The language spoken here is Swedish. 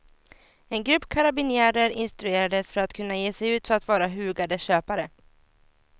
En grupp karabinjärer instruerades för att kunna ge sig ut för att vara hugade köpare.